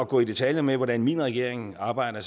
gå i detaljer med hvordan min regering arbejder